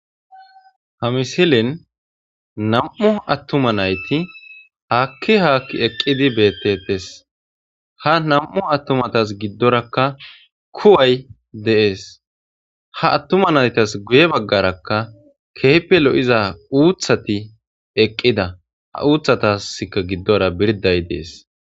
Ha missilen nam7u attuma nayti haakki haakki eqqidi beettetes ha nam7u attumatas giddorakka kuway de7es ha attuma naytas guye baggarakka kehippe lo7iza uuthati eqqida ha uuthatasika giddora birday dessi.